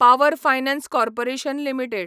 power finance corporation limited